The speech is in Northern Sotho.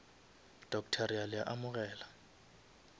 doctor re a le amogela